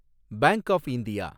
bank of India